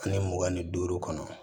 Ani mugan ni duuru kɔnɔ